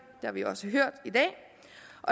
det har vi også hørt i den